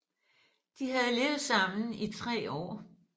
De havde levet sammen i tre år